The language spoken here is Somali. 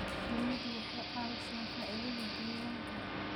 Shinnidu waxay caawisaa faa'iidada deegaanka.